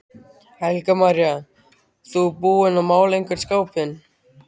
Helga María: Þú búinn að mála einhvern skápinn?